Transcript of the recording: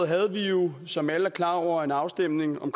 havde vi jo som alle er klar over en afstemning om